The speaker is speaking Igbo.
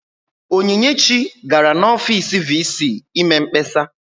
Onyinyechi gara n'ọfiisi VC ime mkpesa.